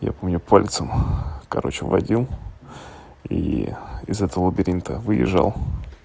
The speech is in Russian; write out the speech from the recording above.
я помню пальцем короче водил и из этого лабиринта выезжал